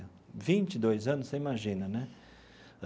Vinte e dois anos, você imagina, né?